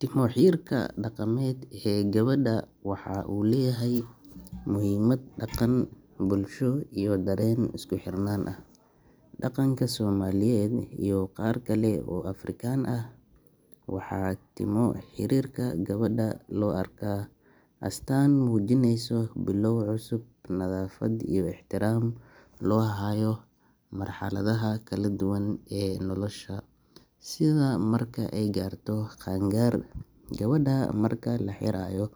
Timo xiirka dhaqameed ee gabadha waxaa uu leeyahay muhimad dhaqan, bulsho iyo dareen isku xirnaan ah. Dhaqanka Soomaaliyeed iyo qaar kale oo Afrikaan ah, waxaa timo xiirka gabadha loo arkaa astaan muujinaysa bilow cusub, nadaafad iyo ixtiraam loo hayo marxaladaha kala duwan ee nolosha, sida marka ay gaarto qaan gaar. Gabadha marka la xiirayo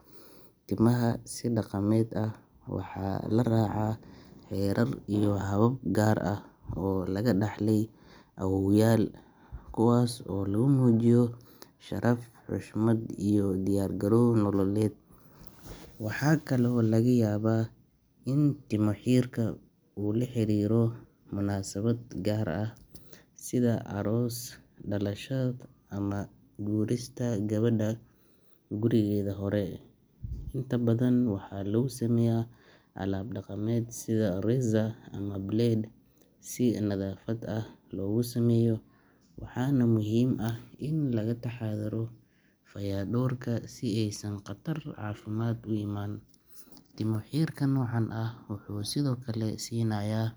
timaha si dhaqameed ah, waxaa la raacaa xeerar iyo habab gaar ah oo laga dhaxlay awoowayaal, kuwaas oo lagu muujiyo sharaf, xushmad iyo diyaar garow nololeed. Waxaa kale oo laga yaabaa in timo xiirka uu la xiriiro munaasabad gaar ah sida aroos, dhalasho ama guurista gabadha gurigeedii hore. Inta badan waxaa lagu sameeyaa alaab dhaqameed sida razor ama blade si nadaafad ah loogu sameeyo, waxaana muhiim ah in laga taxadaro fayadhowrka si aysan khatar caafimaad u imaan. Timo xiirka noocan ah wuxuu sidoo kale siinayaa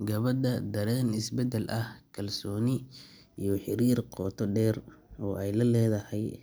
gabadha dareen isbeddel ah, kalsooni iyo xiriir qoto dheer oo ay la leedahay.